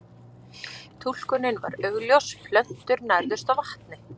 Túlkunin var augljós, plöntur nærðust á vatni.